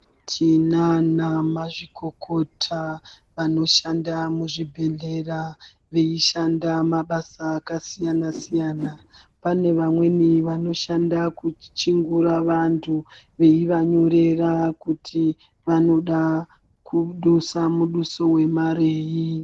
Tinana mazvikokota anoshanda muzvibhehleya vaishanda mabasa akasiyana siyana pane vamweni vanoshanda kuchingura vantu veiva nyorera kuti vanoda kudusa muduso wemarei.